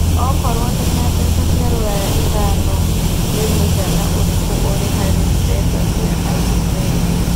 okorwo ndĩna mbeca cĩa rũraya ĩthano nĩ mũigana ũrikũ ũrĩ harĩ mbeca cĩa Australia